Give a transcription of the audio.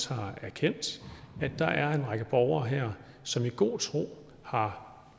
har erkendt at der er en række borgere her som i god tro har